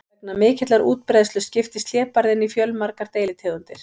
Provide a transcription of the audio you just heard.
Vegna mikillar útbreiðslu skiptist hlébarðinn í fjölmargar deilitegundir.